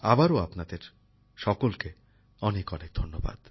আবারো আপনাদের সকলকে অনেক অনেক ধন্যবাদ